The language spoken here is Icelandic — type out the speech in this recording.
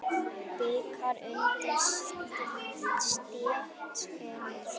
Bikar undir stétt er sú.